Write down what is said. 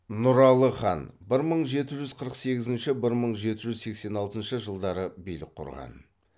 нұралы хан билік құрған